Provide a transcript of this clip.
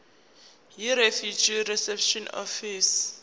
yirefugee reception office